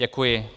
Děkuji.